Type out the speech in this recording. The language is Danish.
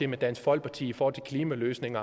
med dansk folkeparti og klimaløsning